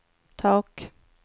tak